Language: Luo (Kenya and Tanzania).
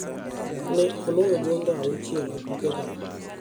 Ne oloyo gonde auchiel e tuke go.